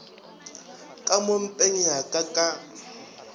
ka mo mpeng yaka ka